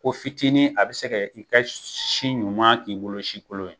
Ko fitinin a be se ka i ka si ɲuman k'i bolo si kolon ye